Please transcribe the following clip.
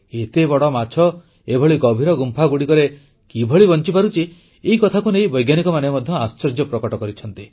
ଏତେ ବଡ଼ ମାଛ ଏଭଳି ଗଭୀର ଗୁମ୍ଫାଗୁଡ଼ିକରେ କିଭଳି ବଂଚିପାରୁଛି ଏକଥାକୁ ନେଇ ବୈଜ୍ଞାନିକମାନେ ମଧ୍ୟ ଆଶ୍ଚର୍ଯ୍ୟ ପ୍ରକଟ କରିଛନ୍ତି